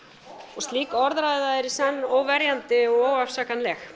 og sú orðræða er í senn óverjandi og óafsakanleg